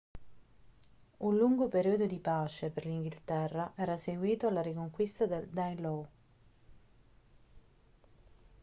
un lungo periodo di pace per l'inghilterra era seguito alla riconquista del danelaw